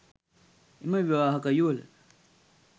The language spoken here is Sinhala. එම විවාහක යුවළ